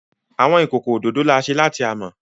Awọn ikoko ododo ni a ṣe lati amọ.